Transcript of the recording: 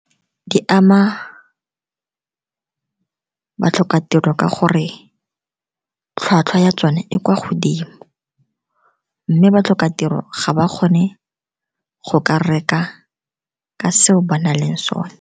Di ama batlhokatiro ka gore tlhwatlhwa ya tsone e kwa godimo, mme batlhokatiro ga ba kgone go ka reka ka se o ba na leng sone.